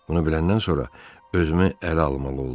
Bunu biləndən sonra özümü ələ almalı oldum.